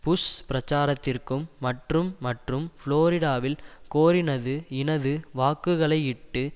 push பிரச்சாரத்திற்கும் மற்றும் மற்றும் புளோரிடாவில் கோரினது இனது வாக்குகளையிட்டு